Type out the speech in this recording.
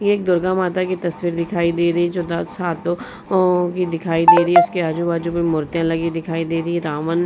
एक दुर्गा माता की तस्वीर दिखाई दे रही है जो दस हो { ओं की दिखाई दे रही है। इसके आजू-बाजू में मूर्तियां लगी दिखाई दे रही हैं रावण --}